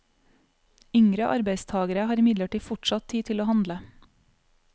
Yngre arbeidstagere har imidlertid fortsatt tid til å handle.